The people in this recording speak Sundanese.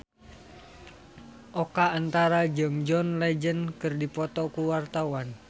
Oka Antara jeung John Legend keur dipoto ku wartawan